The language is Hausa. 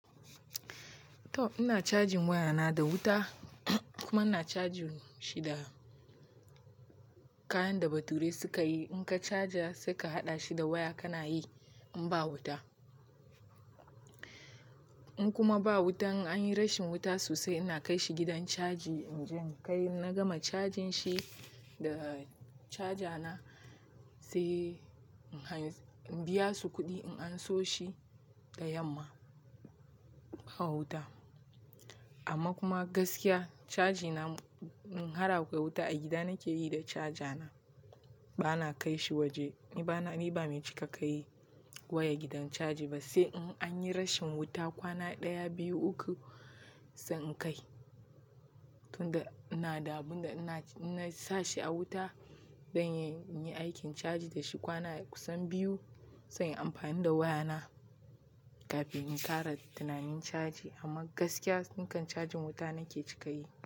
To! Ina cajin wayana da wuta kuma ina caji shi da kayan da bature suka yi. In ka caja sai ka haɗa shi da waya kana yi in ba wuta. In kuma ba wuta in anyi rashi wuta sosai ina kaishi gidan chaji na gama cajin shi da caja na sai in biya su kuɗi in anso shi da yamma ba wuta. Amma kuma gaskiya caji na in har akwai wuta a gida nake yi da caja na bana kai shi waje. Ni ba mai cika kayi waya gidan caji ba sai in anyi rashin wuta kwana ɗaya, biyu, uku sai in kai. Tunda ina da abun da inasa shi a wuta zan yi aikin caji da shi kwana kusan biyu zan yi amfani da waya na kafin in ƙara tunanin caji. Amma gaskiya nikan cajin wuta nake cika yi.